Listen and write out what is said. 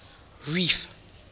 reef